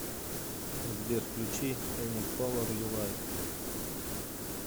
сбер включи эни колор ю лайк